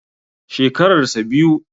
Shekarar sa biyu.